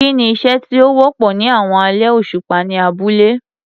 Kí ni iṣẹ́ tí ó wọ́pọ̀ ní àwọn alẹ́ òṣùpá ní abúlé?